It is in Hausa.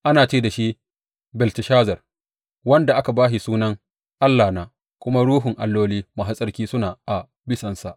Ana ce da shi Belteshazar, wanda aka ba shi sunan allahna kuma ruhun alloli masu tsarki suna a bisansa.